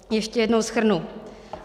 Ještě jednou shrnu.